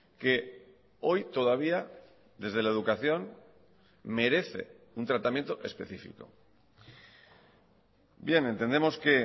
que hoy todavía desde la educación merece un tratamiento específico bien entendemos que